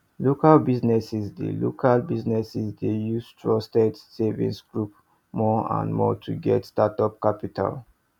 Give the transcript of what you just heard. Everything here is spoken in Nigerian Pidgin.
local businesses dey local businesses dey use trusted savings groups more and more to get startup capital